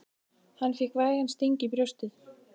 Hann fékk vægan sting í brjóstið.